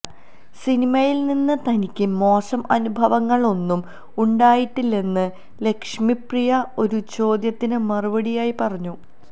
സിനിമയില് നിന്ന് തനിക്ക് മോശം അനുഭവങ്ങളൊന്നും ഉണ്ടായിട്ടില്ലെന്ന് ലക്ഷ്മി പ്രിയ ഒരു ചോദ്യത്തിന് മറുപടിയായി പറഞ്ഞു